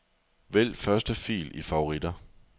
Vælg første fil i favoritter.